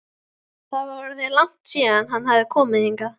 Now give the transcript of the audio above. Það var orðið langt síðan hann hafði komið hingað.